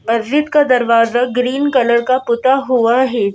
मस्जिद का दरवाजा ग्रीन कलर का पुता हुआ है।